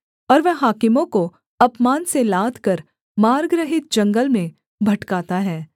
और वह हाकिमों को अपमान से लादकर मार्ग रहित जंगल में भटकाता है